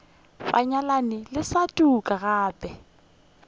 banyalani le sa tuka gape